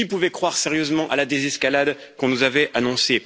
Qui pouvait croire sérieusement à la désescalade qu'on nous avait annoncée?